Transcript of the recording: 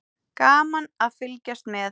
Gaman að fylgjast með.